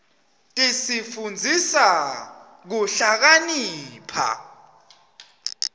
tsifundisa kuhlakanipha